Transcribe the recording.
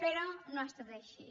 però no ha estat així